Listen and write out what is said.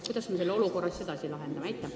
Kuidas me selle olukorra siis lahendame?